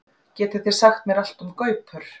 Getið þið sagt mér allt um gaupur?